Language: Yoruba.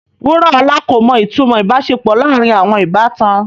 Wuraola ko mo itumo ibaṣepọ laarin awọn ibatan